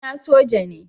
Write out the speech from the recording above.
Kawuna soja ne.